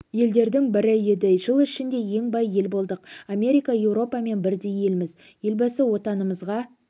елдердің бірі еді жыл ішінде ең бай ел болдық америка еуропамен бірдей елміз елбасы отанымызға